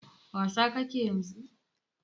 Wasa ka ke yanzu?